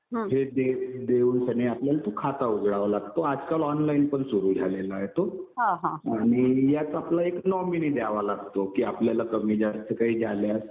जे देऊन सनी आपल्याला खाता उघडावा लागतो. आजकाल ऑनलाईनपण सुरु झालेला आहे तो. आणि यात आपला एक नॉमिनी द्यावा लागतो. कि आपल्याला कमी जास्त काही झाल्यास